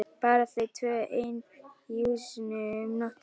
Bara þau tvö ein í húsinu um nóttina!